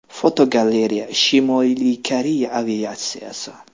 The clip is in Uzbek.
Fotogalereya: Shimoliy Koreya aviatsiyasi.